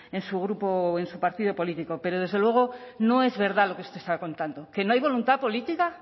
en su grupo o en su partido político pero desde luego no es verdad lo que usted está contando que no hay voluntad política